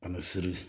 A bɛ siri